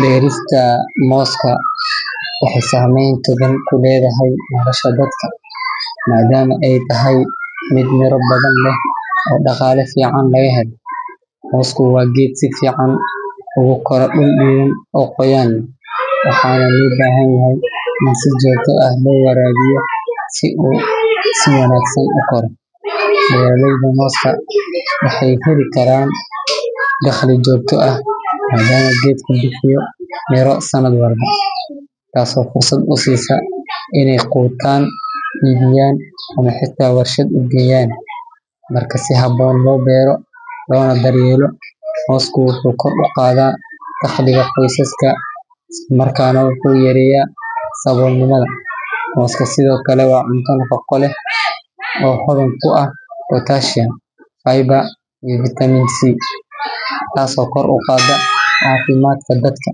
Beerista mooska waxay saameyn togan ku leedahay nolosha dadka maadaama ay tahay mid miro badan leh oo dhaqaale fiican laga helo. Moosku waa geed si fiican ugu kora dhul diiran oo qoyaan leh, waxaana loo baahan yahay in si joogto ah loo waraabiyo si uu si wanaagsan u koro. Beeraleyda mooska waxay heli karaan dakhli joogto ah maadaama geedku bixiyo miro sanad walba, taasoo fursad u siisa inay quutaan, iibiyaan ama xitaa warshad u geeyaan. Marka si habboon loo beero loona daryeelo, moosku wuxuu kor u qaadaa dakhliga qoysaska isla markaana wuxuu yareeyaa saboolnimada. Mooska sidoo kale waa cunto nafaqo leh oo hodan ku ah potassium, fiber, iyo vitamin C, taasoo kor u qaadda caafimaadka dadka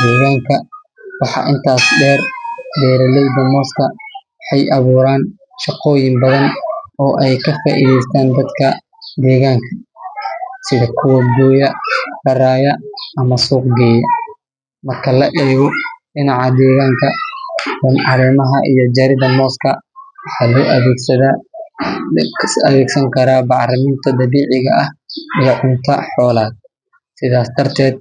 deegaanka. Waxaa intaas dheer, beeraleyda mooska waxay abuuraan shaqooyin badan oo ay ka faa’iideystaan dadka deegaanka sida kuwa gooya, raraya ama suuqgeeya. Marka laga eego dhinaca deegaanka, caleemaha iyo jirida mooska waxaa loo adeegsan karaa bacriminta dabiiciga ah iyo cunto xoolaad. Sidaas darteed.